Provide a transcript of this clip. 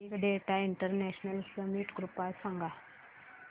big data international summit कृपया सांगा